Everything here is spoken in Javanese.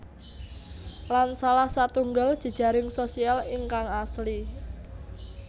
Lan salah satunggal jejaring sosial ingkang asli